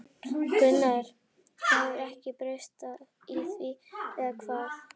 Gunnar: Það hefur ekkert breyst í því, eða hvað?